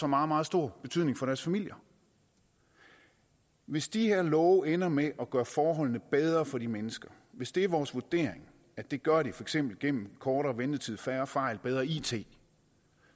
meget meget stor betydning for deres familier hvis de her love ender med at gøre forholdene bedre for de mennesker hvis det er vores vurdering at det gør de for eksempel gennem kortere ventetid færre fejl bedre it